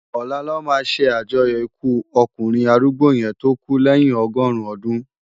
Òlá lò má sé ájòyò ikú òkúnrin árúgbó yèn tó kú lèyin ọgọrun òdún